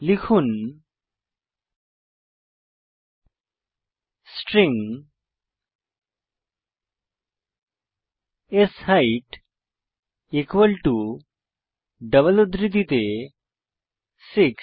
লিখুন string set equal to double উদ্ধৃতিতে 6